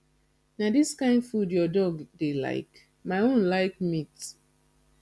na dis kin food your dog dey like my own like meat